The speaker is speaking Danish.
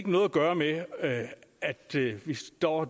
noget at gøre med at vi står